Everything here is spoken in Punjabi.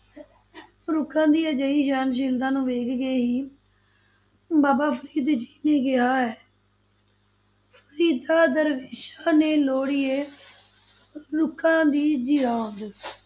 ਰੁੱਖਾਂ ਦੀ ਅਜਿਹੀ ਸਹਿਣਸ਼ੀਲਤਾ ਨੂੰ ਵੇਖ ਕੇ ਹੀ ਬਾਬਾ ਫ਼ਰੀਦ ਜੀ ਨੇ ਕਿਹਾ ਹੈ ਫਰੀਦਾ ਦਰਵੇਸਾਂ ਨੋ ਲੋੜੀਐ ਰੁੱਖਾਂ ਦੀ ਜੀਰਾਂਦ।